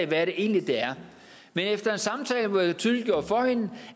hvad det egentlig er men efter en samtale hvor jeg tydeliggjorde for hende